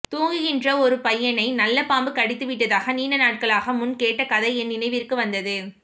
தூங்குகின்ற ஒருபையனை நல்ல பாம்பு கடித்து விட்டதாக நீண்ட நாள்களுக்கு முன் கேட்ட கதை என் நினைவிற்கு வந்தது